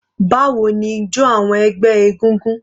Báwo ni ijọ awọn ẹgbẹ́ egúngún?